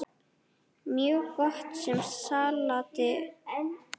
Mjög gott með salati.